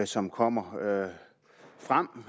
som kommer frem